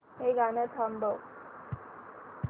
हे गाणं थांबव